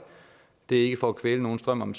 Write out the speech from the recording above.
det er ikke for at kvæle nogens drøm om